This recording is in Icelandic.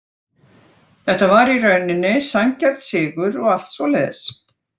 Þetta var í rauninni sanngjarn sigur og allt svoleiðis.